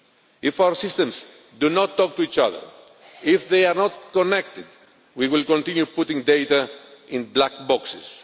If our systems do not talk to each other, if they are not connected, we will continue putting data into black boxes.